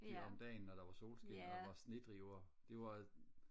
om dagen når der var solskin og der var snedriver det var